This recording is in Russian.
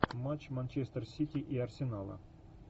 матч манчестер сити и арсенала